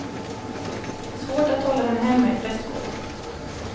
Svårt att hålla henne hemma i prästgården.